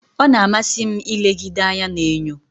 Ọ na-amasị m ilegide anya n'enyo.